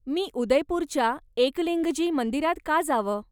मी उदयपूरच्या एकलिंगजी मंदिरात का जावं?